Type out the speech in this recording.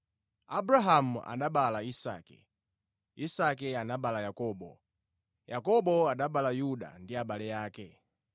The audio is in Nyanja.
Abrahamu anabereka Isake, Isake anabereka Yakobo, Yakobo anabereka Yuda ndi abale ake.